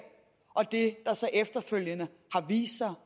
og det der så efterfølgende har vist sig